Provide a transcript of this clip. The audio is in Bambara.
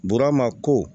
Burama ko